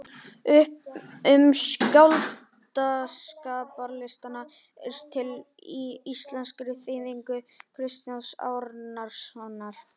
Um skáldskaparlistina er til í íslenskri þýðingu Kristjáns Árnasonar.